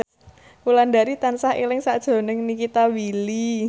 Wulandari tansah eling sakjroning Nikita Willy